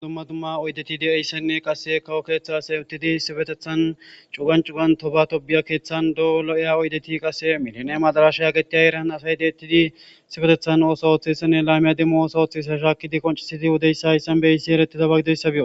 adumma dumma oydeti de7eyssenne qasse kawo keeththa asay uttidi sibetethan cugancugan tobatobiya keeththan doolo7iya oydeti qase miline madaraasha yaagettiya eran asay deettidi sibetethan ooso ooththessenne laymiya demmo ooso oththisa shaakidi qoncisidi wodeyssa hayssan beyssi ereti zabagidoyssabio